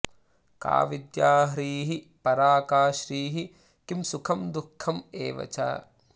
का विद्या ह्रीः परा का श्रीः किं सुखं दुःखम् एव च